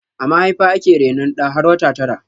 A mahaifa ake rainon ɗa har wata tara